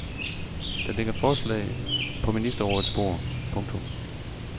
Der ligger forslag på ministerrådets bord. punktum